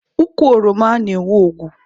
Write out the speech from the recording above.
Ukwu oroma na-enwe ogwu.